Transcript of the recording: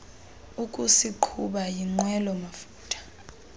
ukusiqhuba yinqwelo mafutha